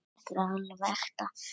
Þetta er alveg ekta.